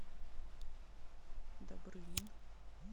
добрынин